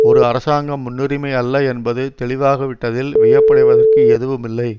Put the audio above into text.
ஒரு அரசாங்க முன்னுரிமையல்ல என்பது தெளிவாகவிட்டதில் வியப்படைவதற்கு எதுவுமில்லை